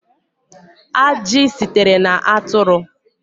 Ajị sitere na atụrụ